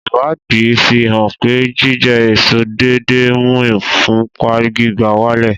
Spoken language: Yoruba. Ìwádìí fi hàn pé jíjẹ èso déédéé ń mú ìfúnpá gíga wálẹ̀